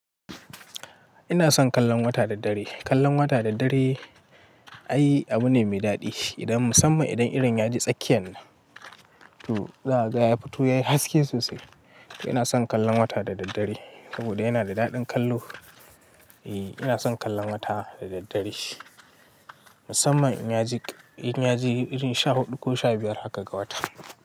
Ina son kallon wata da daddare. Kallon wata da daddare ai abu ne mai daɗi. Idan musamman idan irin yaje tsakiyan nan to za a ga ya fito yayi haske sosai. Ina son kallon wata da daddare saboda yana da daɗin kallo. Eee ina son kallon wata da daddare musamman in yaji, in yaji irin sha huɗu ko sha biyar haka ga wata.